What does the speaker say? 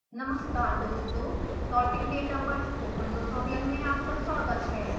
नमस्कार दोस्तों plotting data पर स्पोकन ट्यूटोरियल में आपका स्वागत है